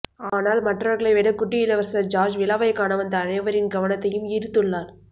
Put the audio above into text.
ஆனால் மற்றவர்களை விட குட்டி இளவரசர் ஜார்ஜ் விழாவை காணவந்த அனைவரின் கவனத்தையும் ஈர்த்துள்ளார்